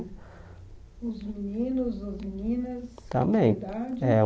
Os meninos, as meninas? Também É o